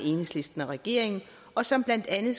enhedslisten og regeringen og som blandt andet